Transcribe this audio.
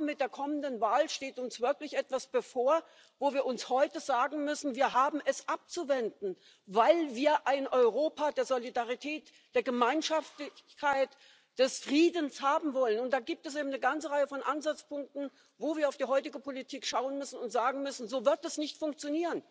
with Brexit. Italy, a founding member of the Union, the third biggest economy in the euro area, now has a coalition government between the 5-Stars and the Lega that is polling over 60 of the vote and is posing a direct challenge, both in terms of the management